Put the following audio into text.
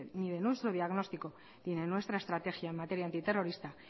ni nuestro diagnóstico ni de nuestra estrategia en materia antiterrorista